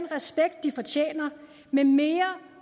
respekt de fortjener med mere